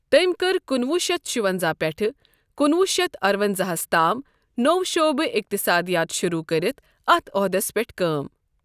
تٔمۍ كٕر کُنہٕ وُہ شتھ شُونٛزاہ پیٹھہٕ کُنہٕ وُہ شتھ ارٕونٛزاہ ہس تام نو٘و شعبہ اقتصادیات شروع كرِتھ اتھ عُہدَس پیٹھ كٲم ۔